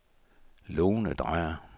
Lone Dreyer